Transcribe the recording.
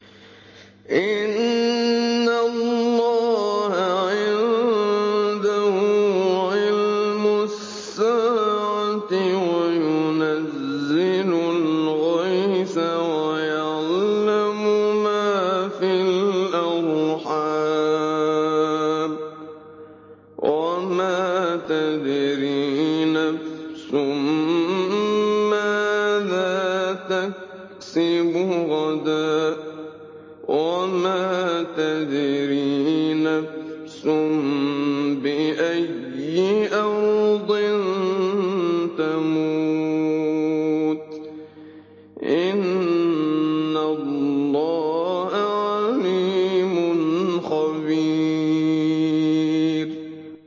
إِنَّ اللَّهَ عِندَهُ عِلْمُ السَّاعَةِ وَيُنَزِّلُ الْغَيْثَ وَيَعْلَمُ مَا فِي الْأَرْحَامِ ۖ وَمَا تَدْرِي نَفْسٌ مَّاذَا تَكْسِبُ غَدًا ۖ وَمَا تَدْرِي نَفْسٌ بِأَيِّ أَرْضٍ تَمُوتُ ۚ إِنَّ اللَّهَ عَلِيمٌ خَبِيرٌ